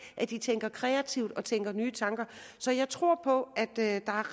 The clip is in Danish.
at de tænker kreativt og tænker nye tanker så jeg tror på at der er